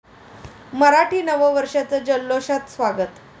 मराठी नवं वर्षाचं जल्लोषात स्वागत